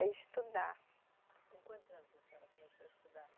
Estudar. Com quantos anos a senhora começou a estudar?